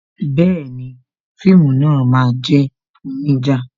Bẹẹni, fíìmù náà máa jẹ́ onija